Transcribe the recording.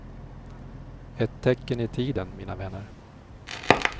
Ett tecken i tiden, mina vänner.